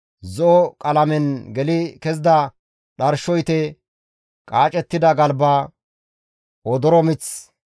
zo7o qalamen geli kezida dharsho ite, qaacettida galba, odoro mith,